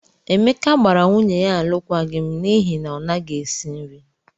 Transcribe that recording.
Emeka gbara nwunye ya alụkwaghịm n'ihi na ọ naghị esi nri.